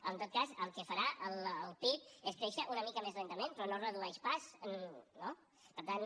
en tot cas el que farà el pib és créixer una mica més lentament però no es redueix pas no per tant